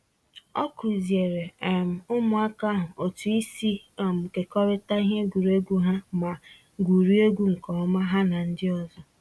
Ọ kuziere um ụmụaka ahụ otu isi um kekọrịta ihe egwuregwu ha ma gwuriegwu nke ọma ha na ndị ọzọ